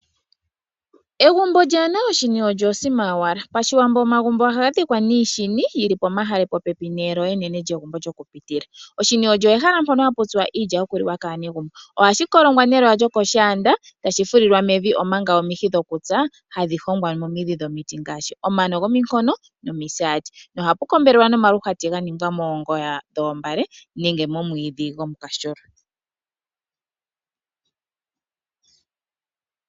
Egumbo kaalina oshini osho osima yowala. Pashiwambo omagumbo ohaga dhikwa niishini yili omahale popepi neelo enene enene lyokupitila. Oshini olyo ehala mpono hapu tsilwa iilya yoku liwa kaanegumbo. Ohashi kolongwa neloya lyokoshaanda etashi fulilwa mevi omanga omihi dhokutsa hadhi hongwa momidhi dhomiti ngaashi omano gominkono nomisaati. Noha pu kombelelwa nomaluhwati ganingwa moongoyo dhoombale nenge momwiidhi gomukashulwa.